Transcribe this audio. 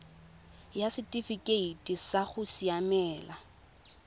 ya setifikeite sa go siamela